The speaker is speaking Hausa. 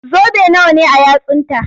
Zobe nawa ne a yatsunta?